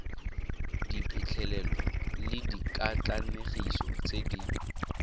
diphitlhelelo le dikatlanegiso tse di